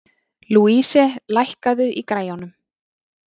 Louise, lækkaðu í græjunum.